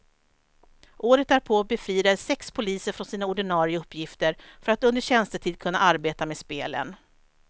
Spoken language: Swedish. Året därpå befriades sex poliser från sina ordinare uppgifter för att under tjänstetid kunna arbeta med spelen.